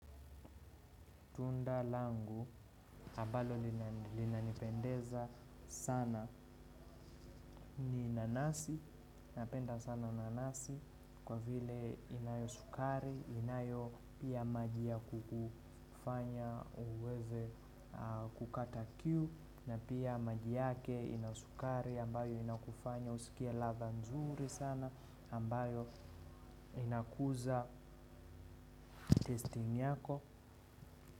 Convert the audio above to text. Tunda langu ambalo linanipendeza sana ni nanasi, napenda sana nanasi kwa vile inayo sukari, inayo pia maji ya kufanya uweze kukata kiu na pia maji yake ina sukari ambayo inakufanya usikie ladha nzuri sana ambayo inakuza testing yako.